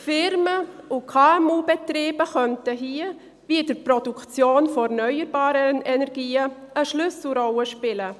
Unternehmungen und KMU-Betriebe könnten diesbezüglich, wie auch in der Produktion von erneuerbaren Energien, eine Schlüsselrolle spielen.